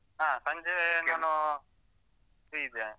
ಹಾ ಸಂಜೆ free ಇದ್ದೇನೆ.